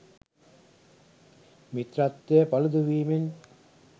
මිත්‍රත්වය පළුදු වීමෙන්